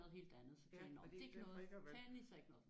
Ja fordi det plejer ikke at være